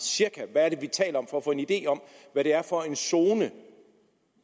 cirka hvad er det vi taler om for at få en idé om hvad det er for en zone